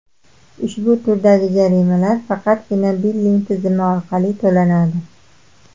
Ushbu turdagi jarimalar faqatgina billing tizmi orqali to‘lanadi.